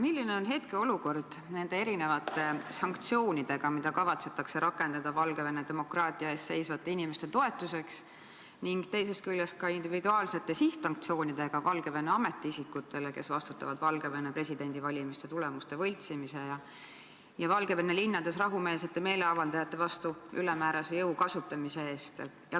Milline on hetkeolukord nende erinevate sanktsioonidega, mis kavatsetakse rakendada Valgevene demokraatia eest seisvate inimeste toetuseks, ning teisest küljest ka individuaalsete sihtsanktsioonidega Valgevene ametiisikutele, kes vastutavad Valgevene presidendivalimiste tulemuste võltsimise ja Valgevene linnades rahumeelsete meeleavaldajate vastu ülemäärase jõu kasutamise eest?